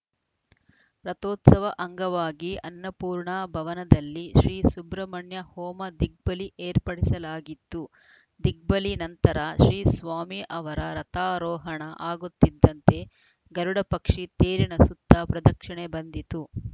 ರಥೋತ್ಸವ ಅಂಗವಾಗಿ ಅನ್ನಪೂರ್ಣ ಭವನದಲ್ಲಿ ಶ್ರೀ ಸುಬ್ರಹ್ಮಣ್ಯ ಹೋಮ ದಿಗ್ಬಲಿ ಏರ್ಪಡಿಸಲಾಗಿತ್ತು ದಿಗ್ಬಲಿ ನಂತರ ಶ್ರೀ ಸ್ವಾಮಿ ಅವರ ರಥಾರೋಹಣ ಆಗುತ್ತಿದ್ದಂತೆ ಗರುಡ ಪಕ್ಷಿ ತೇರಿನ ಸುತ್ತ ಪ್ರದಕ್ಷಿಣೆ ಬಂದಿತು